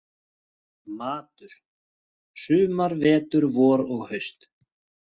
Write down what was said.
Matur: sumar, vetur, vor og haust.